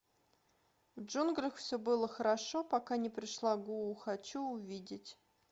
в джунглях все было хорошо пока не пришла гуу хочу увидеть